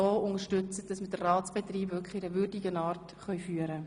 Damit unterstützen Sie uns, den Ratsbetrieb in einer würdigen Art zu führen.